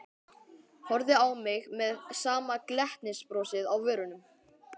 Horfði á mig með sama glettnisbrosið á vörunum.